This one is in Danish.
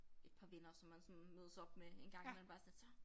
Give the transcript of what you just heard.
Et par venner som man sådan mødes op med en gang imellem bare sådan lidt så